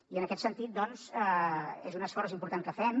i en aquest sentit és un esforç important que fem